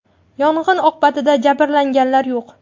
Yong‘in oqibatida jabrlanganlar yo‘q.